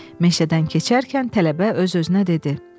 Meşədən keçərkən tələbə öz-özünə dedi.